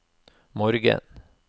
morgen